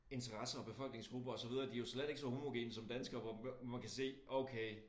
Interesser og befolkningsgrupper og så videre de jo slet ikke lige så homogene som danskere hvor man kan se okay